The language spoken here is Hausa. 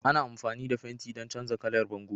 Ana amfani da fenti don canza kalar bango